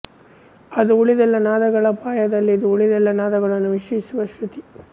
ಅದು ಉಳಿದೆಲ್ಲ ನಾದಗಳ ಪಾಯದಲ್ಲಿದ್ದು ಉಳಿದೆಲ್ಲ ನಾದಗಳನ್ನು ಮಿಶ್ರಿಸುವ ಶೃತಿ